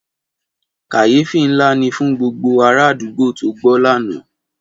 Kàyéfì ńlá ni fún gbogbo ara àdúgbò tó gbọ́ lánàá.